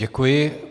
Děkuji.